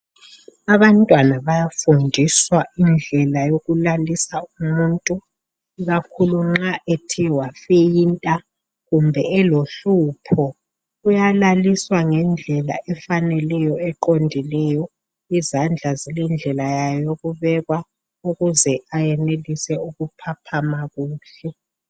Abantwana bayafundiswa indlela yokulalisa umutnu ikakhulu nxa ethe wafeyinta kumbe elohlupho uyalaliswa ngendlela efaneleyo eqondileyo izandla zilendlela yayo yokubekwa ukuze ayenelise ukuphaphama kuhle.